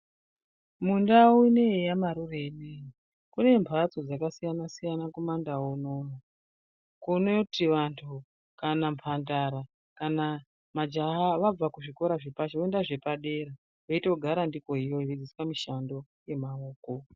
Mundau ineiyi yamarure inoiyi kune mhatso dzakasiyana-siyana kumandau unono. Kunoti vantu kana mhandara kana majaha vabva kuzvikora zvepashi voenda zvepadera votogara ndiko iyoyo veidzidziswa mishando yemaoko.